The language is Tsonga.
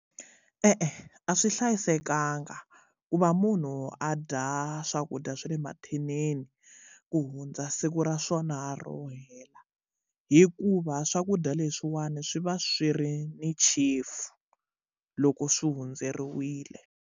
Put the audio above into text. E-e a swi hlayisekanga ku va munhu a dya swakudya swa le mathinini ku hundza siku ra swona ro hela hikuva swakudya leswiwani swi va swi ri ni chefu loko swi hundzeriwile.